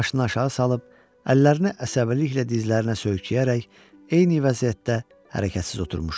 Başını aşağı salıb, əllərini əsəbiliklə dizlərinə söykəyərək eyni vəziyyətdə hərəkətsiz oturmuşdu.